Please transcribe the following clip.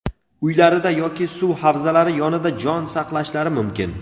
uylarida yoki suv havzalari yonida jon saqlashlari mumkin.